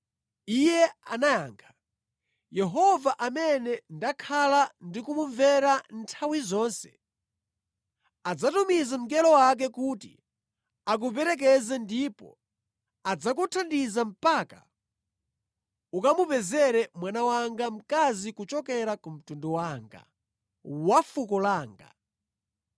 “Iye anayankha, ‘Yehova amene ndakhala ndikumumvera nthawi zonse, adzatumiza mngelo wake kuti akuperekeze ndipo adzakuthandiza mpaka ukamupezere mwana wanga mkazi kuchokera ku mtundu wanga, wa fuko langa.